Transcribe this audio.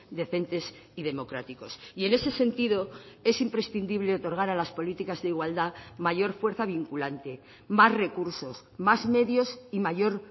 decentes y democráticos y en ese sentido es imprescindible otorgar a las políticas de igualdad mayor fuerza vinculante más recursos más medios y mayor